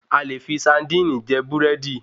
A lè fii saandíìnì je Búrẹ́dì